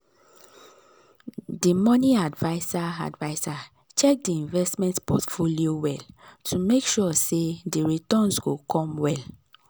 d money adviser adviser check di investment portfolio well to make sure sey di returns go come well.